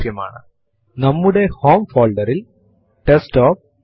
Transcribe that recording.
cat space and file name type ചെയ്യുക